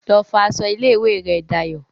Lọ fọ aṣọ ilé ìwé rẹ Dayọ̀